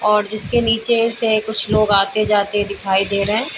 और जिसके नीचे से कुछ लोग आते जाते दिखाई दे रहें हैं।